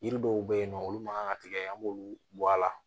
Yiri dɔw be yen nɔ olu ma kan ka tigɛ an b'olu bɔ a la